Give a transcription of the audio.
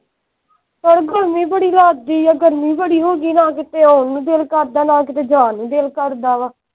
ਪਰ ਗਰਮੀ ਬੜੀ ਲਗਦੀ ਆ ਗਰਮੀ ਬੜੀ ਹੋਗੀ ਆ ਨਾ ਕੀਤੇ ਆਉਣ ਨੂੰ ਦਿਲ ਕਰਦਾ ਨਾ ਕੀਤੇ ਜਾਣ ਨੂੰ ਕਰਦਾ ਵਾ।